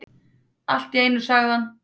Allt í einu sagði hann: